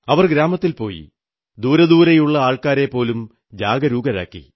അവർ ഗ്രാമത്തിൽ പോയി ദൂരെദൂരെയുള്ള ആൾക്കാരെപ്പോലും ജാഗരൂകരാക്കി